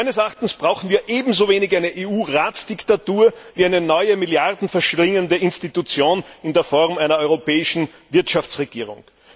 Meines Erachtens brauchen wir ebenso wenig eine EU Ratsdiktatur wie eine neue, Milliarden verschlingende Institution in Form einer europäischen Wirtschaftsregierung.